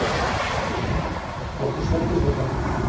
Okkur svelgdist á kaffinu.